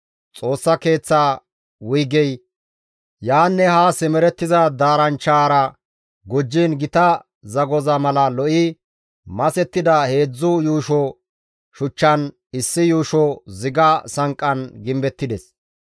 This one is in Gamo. Xoossa Keeththaa wuygey yaanne haa simerettiza daaranchchaara gujjiin gita zagoza mala lo7i masettida heedzdzu yuusho shuchchan, issi yuusho ziga sanqqan gimbettides.